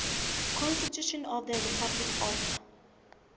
constitution of the republic of